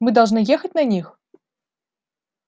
мы должны ехать на них